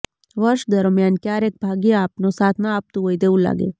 વર્ષ દરમ્યાન ક્યારેક ભાગ્ય આપનો સાથ ન આપતું હોય તેવું લાગે